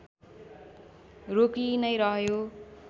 रोकिई नै रह्यो